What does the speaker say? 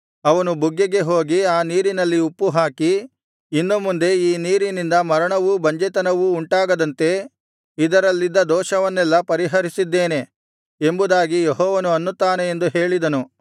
ಅವನು ಬುಗ್ಗೆಗೆ ಹೋಗಿ ಆ ನೀರಿನಲ್ಲಿ ಉಪ್ಪು ಹಾಕಿ ಇನ್ನು ಮುಂದೆ ಈ ನೀರಿನಿಂದ ಮರಣವೂ ಬಂಜೆತನವೂ ಉಂಟಾಗದಂತೆ ಇದರಲ್ಲಿದ್ದ ದೋಷವನ್ನೆಲ್ಲಾ ಪರಿಹರಿಸಿದ್ದೇನೆ ಎಂಬುದಾಗಿ ಯೆಹೋವನು ಅನ್ನುತ್ತಾನೆ ಎಂದು ಹೇಳಿದನು